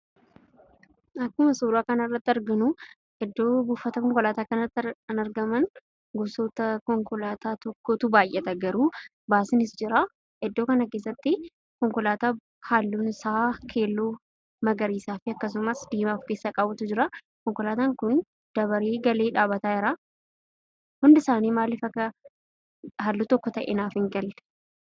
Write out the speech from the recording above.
Akkuma suuraa kanarratti argamu, iddoo buufata konkolaataa kanatti kan argaman gosoota konkolaataa tokkotu baay'ata garuu baasiinis jira. Iddoo kana keessatti konkolaataan halluun isaa keelloo, magariisaa fi akkasumas diimaa of keessaa qabutu jira. Konkolaataan kun dabaree galee dhaabbataa jira. Hundisaanii maaliif akka halluu tokko ta'ee naaf hin galle.